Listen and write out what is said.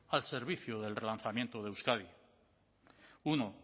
al servicio del relanzamiento de euskadi uno